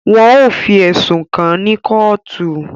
Wọn o fi ẹsùn kàn ní kootu